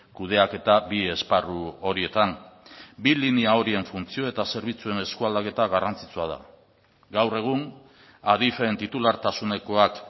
kudeaketa bi esparru horietan bi linea horien funtzio eta zerbitzuen eskualdaketa garrantzitsua da gaur egun adif en titulartasunekoak